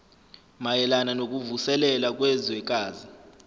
mayelana nokuvuselela kwezwekazi